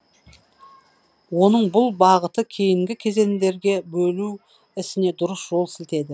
оның бұл бағыты кейінгі кезендерге бөлу ісіне дұрыс жол сілтеді